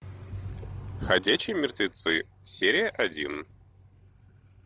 ходячие мертвецы серия один